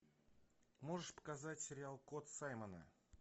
можешь показать сериал код саймона